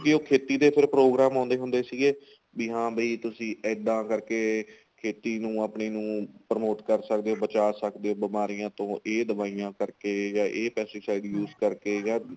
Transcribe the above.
ਖੇਤੀ ਦੇ ਫੇਰ program ਆਉਂਦੇ ਹੁੰਦੇ ਸੀਗੇ ਵੀ ਹਾਂ ਬਾਈ ਤੁਸੀਂ ਇੱਦਾਂ ਕਰਕੇ ਖੇਤੀ ਨੂੰ ਆਪਣੀ ਨੂੰ promote ਕਰ ਸਕਦੇ ਬਚਾ ਸਕਦੇ ਬਿਮਾਰੀਆਂ ਤੋਂ ਇਹ ਦਵਾਈਆਂ ਕਰਕੇ ਜਾਂ ਇਹ pesticide ਕਰਕੇ ਜਾਂ